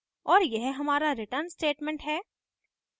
और यह हमारा return statement है